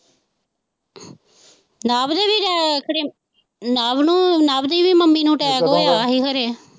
ਨਵ ਦੇ ਵੀ ਡੇ, ਖਰੇ ਨਵ ਨੂੰ, ਨਵ ਦੀ ਵੀ ਮੰਮੀ ਨੂੰ ਟੈਕ ਹੋਇਆ ਹੀ ਖਰੇ।